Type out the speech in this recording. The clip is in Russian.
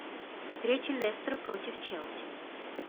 встреча лестер против челси